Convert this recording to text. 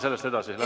Saame sellest üle.